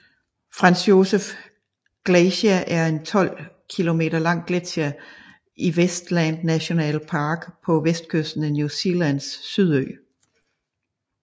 Franz Josef Glacier er en 12 km lang gletsjer i Westland National Park på vestkysten af New Zealands Sydø